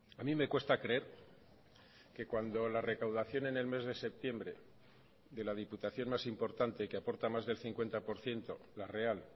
a mí me cuesta creer que cuando la recaudación en el mes de septiembre de la diputación más importante que aporta más del cincuenta por ciento la real